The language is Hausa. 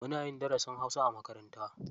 Muna yin darasin hausa a makaranta.